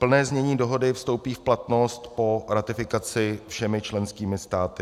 Plné znění dohody vstoupí v platnost po ratifikaci všemi členskými státy.